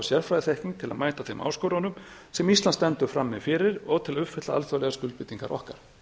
sérfræðiþekking til að mæta þeim áskorunum sem ísland stendur frammi fyrir og til að uppfylla alþjóðlegar skuldbindingar okkar